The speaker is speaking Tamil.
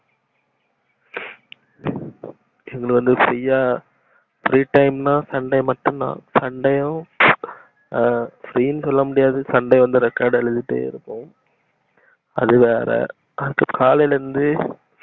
இன்னொன்னு free யா free time ன்னா sunday மட்டும்தா sunday வும் அ free னு சொல்லமுடியாது record எழுதிட்டே இருப்போம் அதுவேற அப்ப காலைல இருந்து